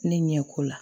Ne ɲɛ ko la